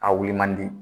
A wuli man di